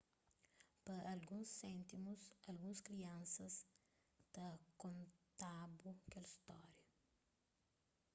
pa alguns séntimus alguns kriansas ta konta-bu kel stória